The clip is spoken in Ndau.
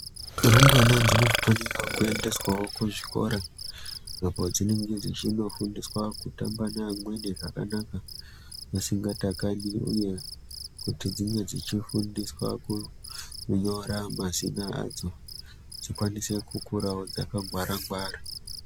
Rumbwana dzinofanirawo kuendeswawo kuzvikora apo dzinenge dzechinofundiswa kutamba neamweni zvakanaka vasingatakani uye kuti dzinge dzechifundiswa kunyora mazina adzo dzikwanise kukurawo dzakangwara-ngwara.